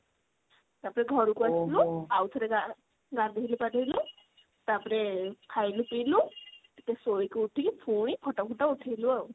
ତାପରେ ଘରକୁ ଆସିଲୁ ଆଉ ଥରେ ଗାଧେଇଲୁ ପାଧେଇଲୁ ତାପରେ ଖାଇଲୁ ପିଇଲୁ ଟିକେ ସୋଇକି ଉଠିକି ପୁଣି photo ଫୋଟୋ ଉଠେଇଲୁ ଆଉ।